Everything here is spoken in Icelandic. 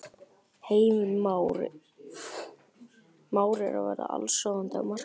Heimir: Már er að verða allsráðandi á markaðnum?